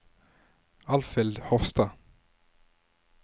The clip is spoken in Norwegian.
Alfhild Hofstad